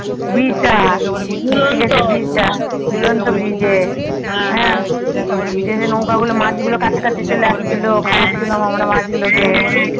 bridge টা জুলন্ত bridge এ যে যে নৌকা গুলো মাছগুলো কাছাকাছি চলে আসছিলো খাওয়াচ্ছিলাম আমরা মাছগুলোকে